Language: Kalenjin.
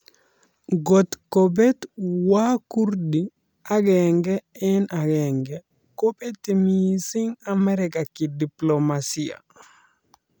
Ngot kobet wakurdi agenge eng agenge kobeti missing Amerika kidiplomasia